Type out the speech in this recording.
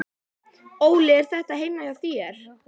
Óli: Er þetta heima hjá þér?